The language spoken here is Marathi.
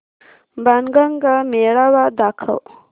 बाणगंगा मेळावा दाखव